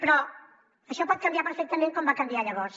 però això pot canviar perfectament com va canviar llavors